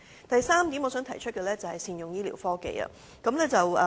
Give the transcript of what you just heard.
我想提出的第三點是善用醫療科技。